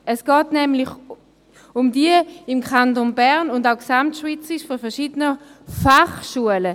Es geht nämlich um die im Kanton Bern und auch gesamtschweizerisch verschiedenen Fachschulen.